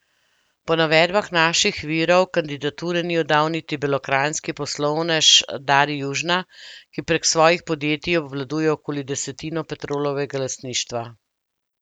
Po navedbah naših virov kandidature ni oddal niti belokranjski poslovnež Dari Južna, ki prek svojih podjetij obvladuje okoli desetino Petrolovega lastništva.